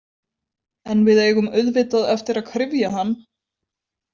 En við eigum auðvitað eftir að kryfja hann.